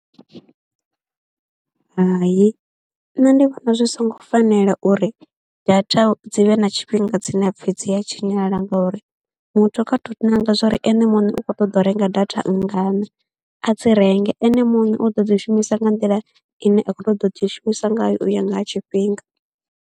Hai nṋe ndi vhona zwi songo fanela uri data dzi vhe na tshifhinga dzine ha pfhi dzi a tshinyala ngauri muthu kha tou ṋanga zwa uri ene muṋe u khou ṱoḓa u renga data nngana, a dzi renge, ene muṋe u ḓo dzi shumisa nga nḓila ine a khou ṱoḓa u dzi shumisa ngayo u ya nga ha tshifhinga.